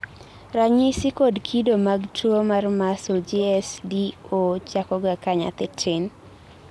ranyisi kod kido mag tuwo mar muscle GSD 0 chakoga ka nyathii tin